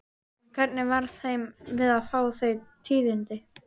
En hvernig varð þeim við að fá þau tíðindi?